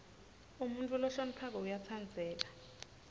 umuntfu lohloniphako uyatsandzeka